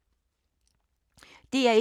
DR1